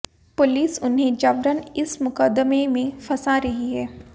police उन्हें जबरन इस मुकदमें में फंसा रही है